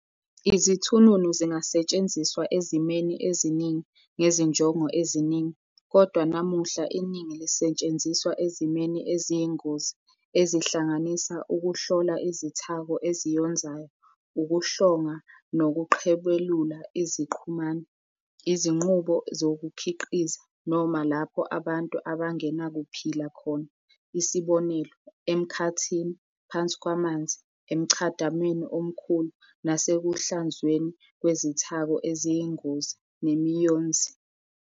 Izithununu zingasetshenziswa ezimweni eziningi ngezinjongo eziningi, kodwa namuhla iningi lisetshenziswa ezimweni eziyingozi, ezihlanganisa ukuhlola izithako eziyonzayo, ukuhlonga nokuqhebelula iziqhumani, izinqubo zokukhiqiza, noma lapho abantu abangenakuphila khona, isb. emkhathini, phansi kwamanzi, emchadamweni omkhulu, nasekuhlanzweni kwezithako eziyingozi nemiyonzi.